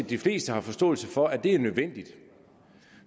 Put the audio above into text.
de fleste har forståelse for at det er nødvendigt